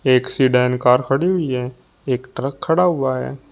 Accident car खड़ी हुई है एक ट्रक खड़ा हुआ है।